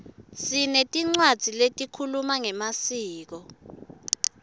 sinetincwadzi letikhuluma ngemaskco